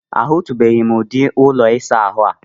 A hụtụbeghị m ụdị ụlọ ịsa ahụ a.